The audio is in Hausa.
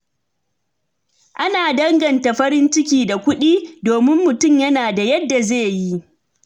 Ana danganta farin ciki da kuɗin, domin mutum yana da yadda zai yi.